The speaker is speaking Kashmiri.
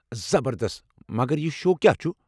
زبردست! مگر یہِ شو کیٚا چھُ؟